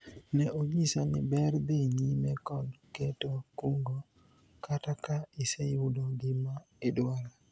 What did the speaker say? ne onyisa ni ber dhi nyime kod keto kungo kata ka iseyudo gima idwaro